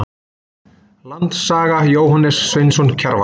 Land og saga- Jóhannes Sveinsson Kjarval.